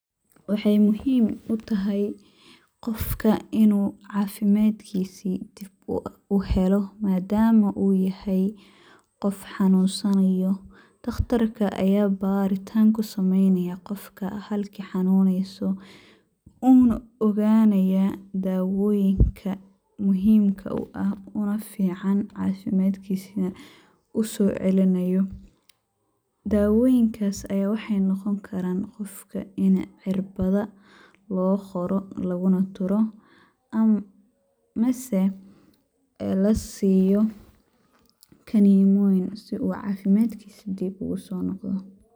Waxey muhiim u tahay qofka inuu cafimadkisii dib uu helo ,madama uu yahay qof xanunsanayo, dhakhtarka ayaa baritaan ku sameynayaa qofka halka xanuneyso wuuna ogaanaya ,dawoyinka muhimka u ah ,una fiican cafimadkiisa ,usoo celinayo . Dawoyinkaas ayaa waxey noqon karaan ,qofka ini cirbada loo qoro ,laguna duro ama ,mase ee la siiyo kanimoyin si uu cafimadkiisa dib ugusoo noqdo.